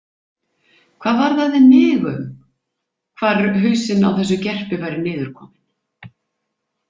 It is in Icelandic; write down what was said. Hvað varðaði mig um hvar hausinn á þessu gerpi væri niður kominn?